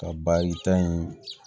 Ka baarita in